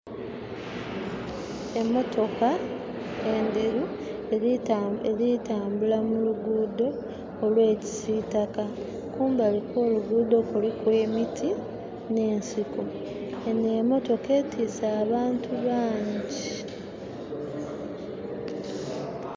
Emotoka endhheru erikutamburila muluguudo olwa kisitaka, kumbali kwoluguddho kuliku emiti ne'nsiko enho emotoka etwise abantu bangi